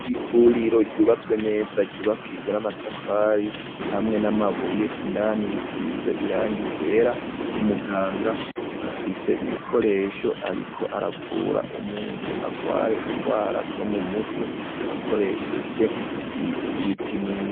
ivuriro ryubatswe neza ryubakijwe n'amatafari hamwe n'amabuye indani risize irangi ryera umuganga afise ibikoresho ariko aravura umuntu agwaye ingwara zo mu mutwe akoresheje ibipimo